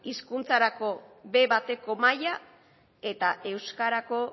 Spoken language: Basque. hizkuntzarako be bateko maila eta euskarako